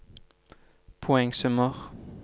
poengsummer